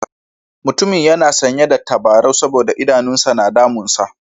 Mutumin yana sanye da tabarau saboda idanun sa na damunsa.